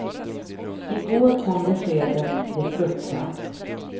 I går kom beskedet de fruktat.